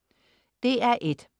DR1: